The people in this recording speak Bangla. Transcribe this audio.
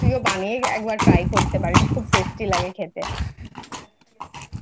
তুইও একবার বানিয়ে Try করে করতে পারিস খুব Tasty লাগে খেতে ।